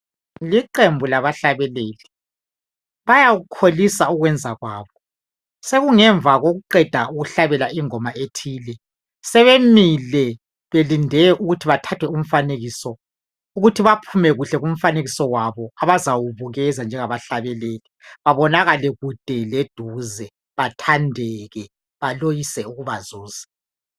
Liqembu labahlabeleli, bawukholisa ukwenza kwabo. Sokungemva kokuqeda ukuhlabela ingoma ethile. Sebemile belinde ukuthi bathathwe umfanekiso ukuthi baphume kuhle kumfanekiso wabo abazawubukisa njengabahlabeleli babonakale kude leduze bathandeke baloyise ukubazuza.